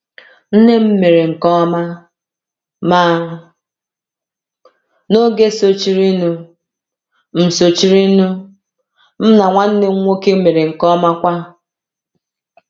Nne m mere nke ọma, ma n’oge sochirinụ, m sochirinụ, m na nwanne m nwoke mere nke ọma kwa.